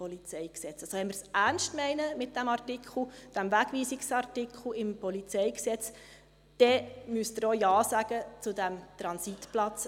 Also, wenn wir es ernst meinen mit diesem Artikel, dem Wegweisungsartikel im PolG, dann müssen Sie auch Ja sagen zu diesem Transitplatz.